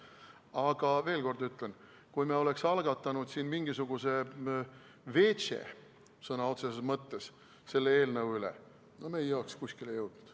Aga veel kord ütlen, et kui me oleks algatanud siin mingisuguse sõna otseses mõttes veetše selle eelnõu üle, siis me ei oleks kuskile jõudnud.